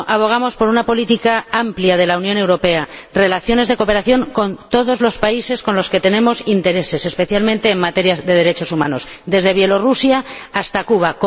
Por eso, abogamos por una política amplia de la Unión Europea, por relaciones de cooperación con todos los países con los que tenemos intereses, especialmente en materia de derechos humanos, desde Belarús hasta Cuba.